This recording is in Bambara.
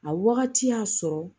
A wagati y'a sɔrɔ